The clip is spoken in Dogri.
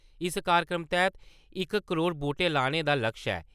इस कार्यक्रम तैह्त इक करोड़ बूह्टे लाने दा लक्श ऐ।